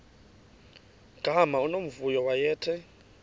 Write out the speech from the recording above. gama unomvuyo wayethe